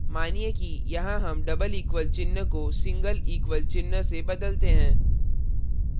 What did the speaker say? मानिए कि यहाँ हम double equal चिन्ह को single equal चिन्ह से बदलते हैं